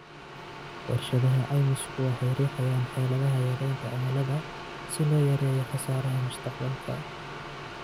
Warshadaha caymisku waxay riixayaan xeeladaha yaraynta cimilada si loo yareeyo khasaaraha mustaqbalka.